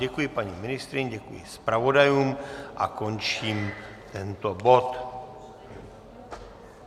Děkuji paní ministryni, děkuji zpravodajům a končím tento bod.